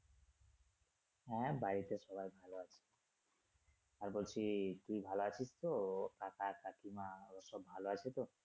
হ্যা বাড়িতে সবাই ভালো আছে আর বলছি তুই ভালো আছিস তো কাকা কাকিমা ওরা সব ভালো আছে তো?